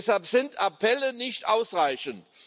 Deshalb sind Appelle nicht ausreichend.